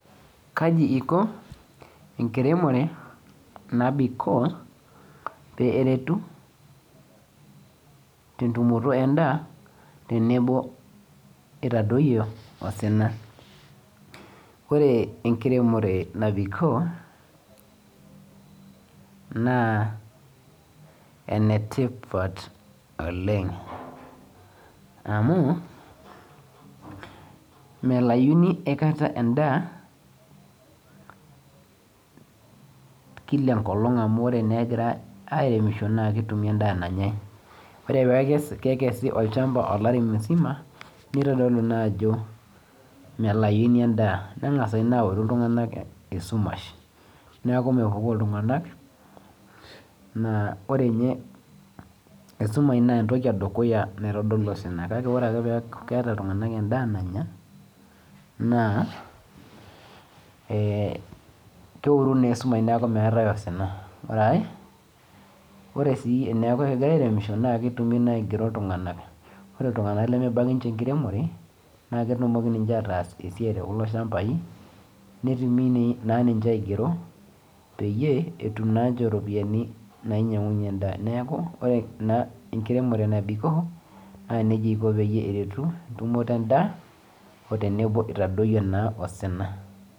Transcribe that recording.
Melauni akaita endaa amu ketumi endaa nanyai. Ore pee ekesi olchamba olari musima nemelai endaa neoru iltungak esumash neaku mepukori. Ore ninye esumash naa entoki natodolu osina kake ore ake pee eeku keeta iltunganak endaa nanya naa, keoru esumash neiwuangie osina. Ore are, teneaku keiremishoi naa kigeri iltunganak naa ketumi esiaai netum iropiyiani naaretie ate.